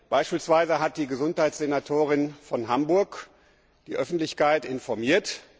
Beispielsweise hat die Gesundheitssenatorin von Hamburg die Öffentlichkeit informiert.